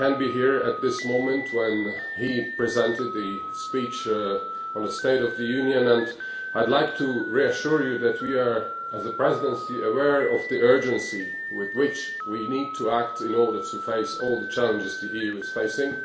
I could not be here when he was presenting the speech on the State of the Union, but I would like to reassure you that we are, as the Presidency, aware of the urgency with which we need to act in order to address all the challenges the EU is facing.